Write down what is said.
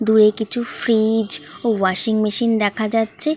দূরে কিছু ফ্রিজ ও ওয়াশিং মেশিন দেখা যাচ্ছে-এ।